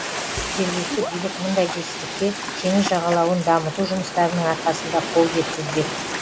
жергілікті билік мұндай жетістікке теңіз жағалауын дамыту жұмыстарының арқасында қол жеткізбек